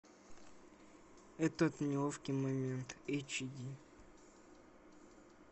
этот неловкий момент эйч ди